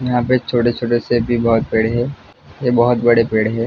यहां पे छोटे-छोटे से भी बहुत पेड़ है ये बहुत बड़े पेड़ है।